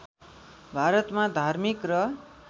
भारतमा धार्मिक र